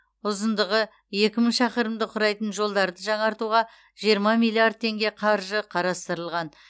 ұзындығы екі мың шақырымды құрайтын жолдарды жаңартуға жиырма миллиард теңге қаржы қарастырылған